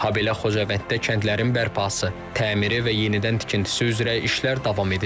Habelə Xocavənddə kəndlərin bərpası, təmiri və yenidən tikintisi üzrə işlər davam edir.